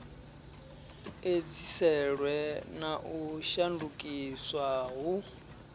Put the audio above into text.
edziselwe na u shandukiswa hu